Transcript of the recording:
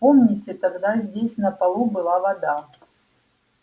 помните тогда здесь на полу была вода